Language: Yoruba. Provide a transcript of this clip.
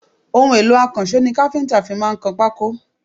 Ohun èlò akanṣo ni àwọn kafinta fí máa kan pako